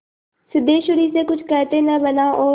सिद्धेश्वरी से कुछ कहते न बना और